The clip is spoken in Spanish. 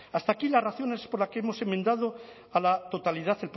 hasta aquí las razones por las que hemos enmendado a la totalidad